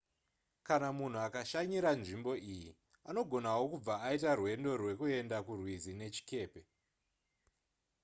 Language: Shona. kana munhu akashanyira nzvimbo iyi anogonawo kubva aita rwendo rwekuenda kurwizi nechikepe